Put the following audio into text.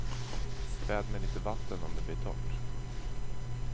Späd med lite vatten om det blir torrt.